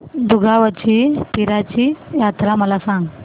दुगावची पीराची यात्रा मला सांग